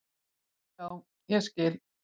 Já, ég skil